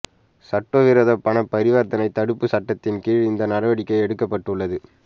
சட்டவிரோத பணப் பரிவர்த்தனை தடுப்புச் சட்டத்தின் கீழ் இந்த நடவடிக்கை எடுக்கப்பட்டுள்ளது